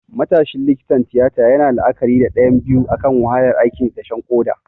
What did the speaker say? Matashin likitan tiyata yana la'akari da ɗayan biyu akan wahalar aikin dashen koda.